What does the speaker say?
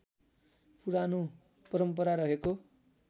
पुरानो परम्परा रहेको